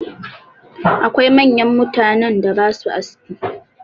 Akwai manyan mutanen da ba sua aski.